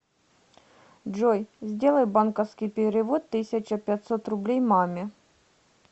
джой сделай банковский перевод тысяча пятьсот рублей маме